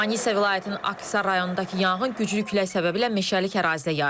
Manisa vilayətinin Aksisar rayonundakı yanğın güclü külək səbəbilə meşəlik ərazidə yayılıb.